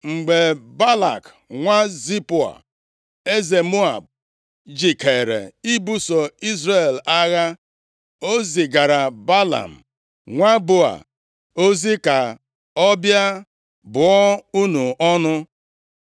Mgbe Balak nwa Zipoa, eze Moab, jikeere ibuso Izrel agha, o zigaara Belam, nwa Beoa ozi ka ọ bịa bụọ unu ọnụ.